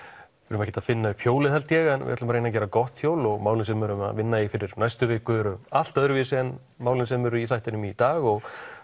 erum ekkert að finna upp hjólið held ég en við ætlum að reyna að gera gott hjól og málin sem við erum að vinna í fyrir næstu viku eru allt öðruvísi en málin sem eru í þættinum í dag og